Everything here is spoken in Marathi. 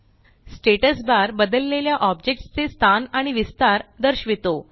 स्टॅटस बार बदललेल्या ऑब्जेक्ट्स चे स्थान आणि विस्तार दर्शवितो